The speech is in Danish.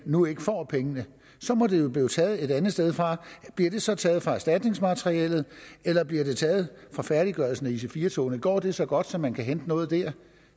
nu ikke får pengene så må det jo blive taget et andet sted fra bliver det så taget fra erstatningsmateriellet eller bliver det taget fra færdiggørelsen af ic4 togene går det så godt at man kan hente noget der